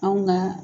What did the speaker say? Anw ka